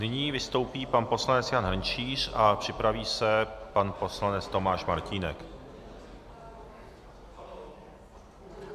Nyní vystoupí pan poslanec Jan Hrnčíř a připraví se pan poslanec Tomáš Martínek.